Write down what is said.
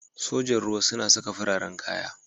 Sojan ruwa suna saka fararen kaya.